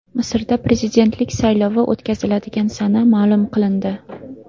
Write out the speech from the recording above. Misrda prezidentlik saylovi o‘tkaziladigan sana ma’lum qilindi.